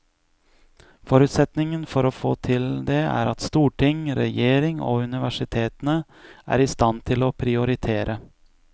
Forutsetningen for å få til det er at storting, regjering og universitetene er i stand til å prioritere.